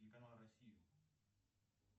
телеканал россию